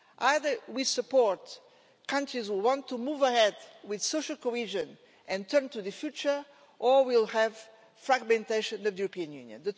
Either we support countries which want to move ahead with social cohesion and turn to the future or we will have a fragmentation of the European Union.